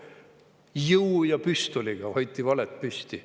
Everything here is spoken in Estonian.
Jõu ja püstoliga hoiti valet püsti.